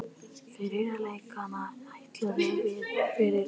Fyrir leikinn ætluðum við í fyrsta lagi að vinna.